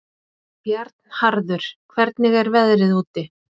Bjarnharður, hvernig er veðrið úti?